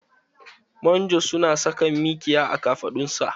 Manjo su na saka mikiya a kafaɗun sa